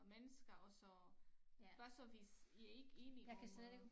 Mennesker og så hvad så hvis i ikke enige om øh